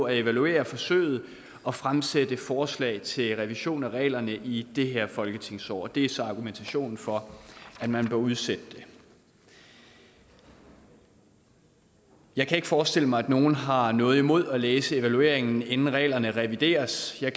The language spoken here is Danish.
at evaluere forsøget og fremsætte forslag til revision af reglerne i det her folketingsår det er så argumentationen for at man bør udsætte det jeg kan ikke forestille mig at nogen har noget imod at læse evalueringen inden reglerne revideres jeg